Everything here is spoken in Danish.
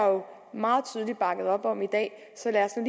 meget tydeligt bakket op om i dag så lad os nu